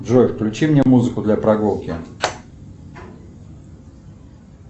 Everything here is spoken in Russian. джой включи мне музыку для прогулки